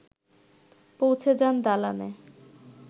পৌঁছে যান দালানে